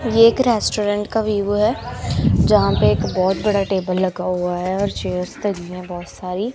ये एक रेस्टोरेंट का व्यू है जहां पे एक बहोत बड़ा टेबल लगा हुआ है और चेयर्स लगी है बहोत सारी--